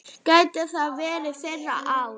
Gæti þetta verið þeirra ár?